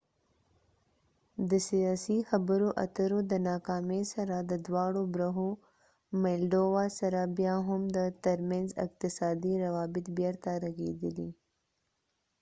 د سیاسي خبرو اترو د ناکامۍ سره سره بیا هم د maldova د دواړو برخو تر منځ اقتصادي روابط بیرته رغیدلي